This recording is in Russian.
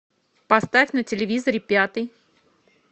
поставь на телевизоре пятый